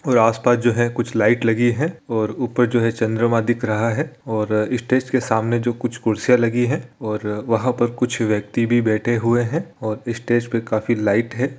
और आस-पास जो है कुछ लाइट लगी है और ऊपर जो है चंद्रमा दिख रहा है और अ इस स्टेज के सामने जो कुछ कुर्सियाँ लगी है और वहाँ पर कुछ व्यक्ति भी बैठे हुए है और इस स्टेज पे काफी लाइट है।